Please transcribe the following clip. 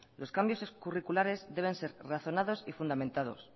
los cambios curriculares deben ser razonados y fundamentados